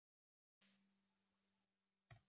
Mér finnst hljóðfræði skemmtileg.